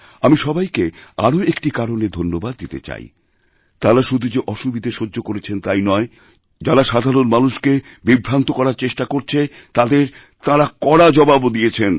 আমি সবাইকে আরও একটি কারণে ধন্যবাদদিতে চাই তাঁরা শুধু যে অসুবিধে সহ্য করেছেন তাই নয় যারা সাধারণ মানুষকেবিভ্রান্ত করার চেষ্টা করছে তাদের তাঁরা কড়া জবাবও দিয়েছেন